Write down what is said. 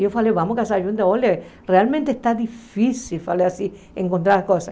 Eu falei, vamos casar juntas, olha, realmente está difícil, falei assim, encontrar as coisas.